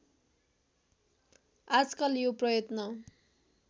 आजकल यो प्रयत्न